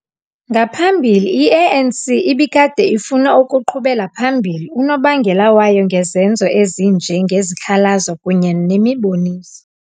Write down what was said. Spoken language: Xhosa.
Ngaphambili, i-ANC ibikade ifuna ukuqhubela phambili unobangela wayo ngezenzo ezinje ngezikhalazo kunye nemiboniso.